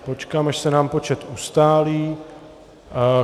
Počkám, až se nám počet ustálí.